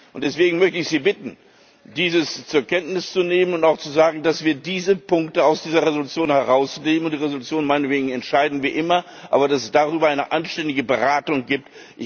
Und deswegen möchte ich Sie bitten, dies zur Kenntnis zu nehmen und auch zu sagen, dass wir diese Punkte aus dieser Entschließung herausnehmen und über die Entschließung meinetwegen entscheiden wie immer, aber dass es darüber eine anständige Beratung gibt.